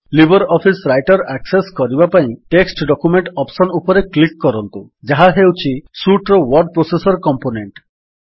Libre office Writer access କରିବା ପାଇଁ text document option ଉପରେ କ୍ଲିକ୍ କରନ୍ତୁ ଯାହା ହେଉଛି ସୁଟ୍ ର ୱର୍ଡ ପ୍ରୋସେସର୍ କମ୍ପୋନେଣ୍ଟ୍